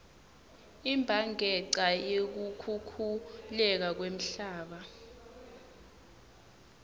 imbhanqeca yekukhukhuleka kwemhlaba